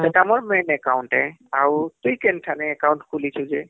ସେଟା ଆମର ଟା account ଯେ ଆଉ ତୁଇ କେନ ଠାଣେ ଖୁଲିଛୁ ଯେ